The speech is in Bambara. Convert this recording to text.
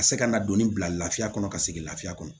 Ka se ka kan ka donni bila lafiya kɔnɔ ka segin lafiya kɔnɔ